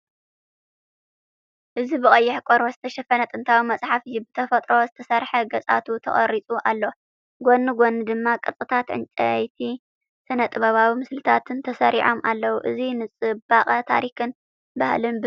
እዚ ብቐይሕ ቆርበት ዝተሸፈነ ጥንታዊ መጽሓፍ እዩ፡ ብተፈጥሮ ዝተሰርሐ ገጻቱ ተቐሪጹ ኣሎ። ጎኒ ጎኒ ድማ ቅርጻታት ዕንጨይቲን ስነ-ጥበባዊ ምስልታትን ተሰሪዖም ኣለዉ፤ እዚ ንጽባቐ ታሪኽን ባህልን ብንጹር ዘመሓላልፍ እዩ።